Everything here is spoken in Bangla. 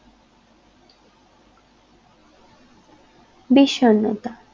বিষণ্ণতা